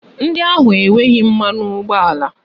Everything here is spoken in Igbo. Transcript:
Ndị ahụ enweghị mmanụ ụgbọala